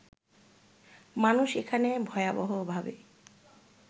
মানুষ এখানে ভয়াবহভাবে